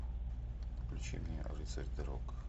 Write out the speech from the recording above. включи мне рыцарь дорог